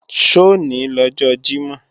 Sọ̀ ní lọ́jọ Jímọ̀?